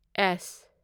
ꯑꯦꯁ